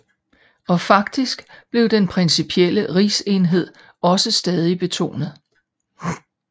Og faktisk blev den principielle rigsenhed også stadig betonet